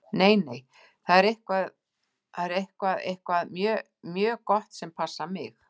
Nei, nei, það er eitthvað. eitthvað mjög gott sem passar mig.